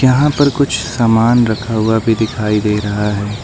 यहां पर कुछ सामान रखा हुआ भी दिखाई दे रही है।